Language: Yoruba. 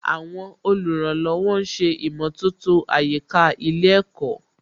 Àwọn olùrànlọ́wọ̀ ń ṣe ìmọ̀tótó àyíká ilé ẹ̀kọ́